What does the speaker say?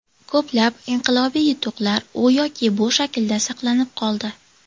Ko‘plab inqilobiy yutuqlar u yoki bu shaklda saqlanib qoldi.